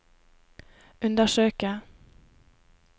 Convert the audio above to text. undersøke